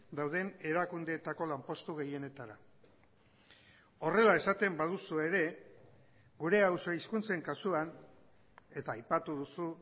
dauden erakundeetako lanpostu gehienetara horrela esaten baduzu ere gure auzo hizkuntzen kasuan eta aipatu duzu